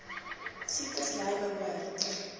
siektes ly behoort